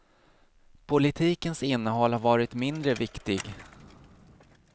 Politikens innehåll har varit mindre viktig.